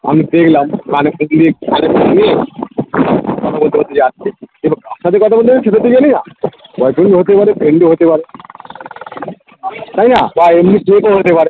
আমি দেখলাম কানের পিছুনে হেঁটে হেঁটে যাচ্ছে ছাদে কথা বলতে কি করতে গেছিলি হতে পারে friend ও হতে পারে তাইনা বা এমনি ও হতে পারে